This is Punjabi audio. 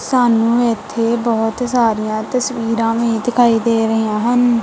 ਸਾਨੂੰ ਇੱਥੇ ਬਹੁਤ ਸਾਰੀਆਂ ਤਸਵੀਰਾਂ ਵੀ ਦਿਖਾਈ ਦੇ ਰਹੀਆਂ ਹਨ।